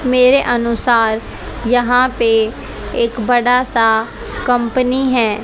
मेरे अनुसार यहां पे एक बड़ा सा कंपनी है।